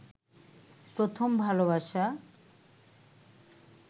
প্রথম ভালবাসা